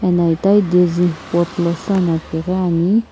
ena itaghi daisy pot lo süana pighiani.